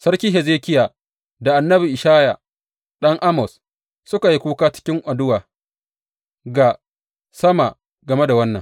Sarki Hezekiya da annabi Ishaya ɗan Amoz suka yi kuka cikin addu’a ga sama game da wannan.